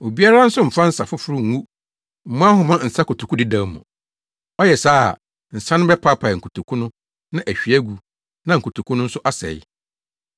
Obiara nso mfa nsa foforo ngu mmoa nhoma nsa nkotoku dedaw mu. Ɔyɛ saa a nsa no bɛpaapae nkotoku no na ahwie agu na nkotoku no nso asɛe.